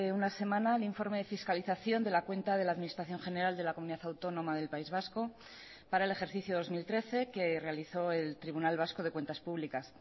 una semana el informe de fiscalización de la cuenta de la administración general de la comunidad autónoma del país vasco para el ejercicio dos mil trece que realizó el tribunal vasco de cuentas públicas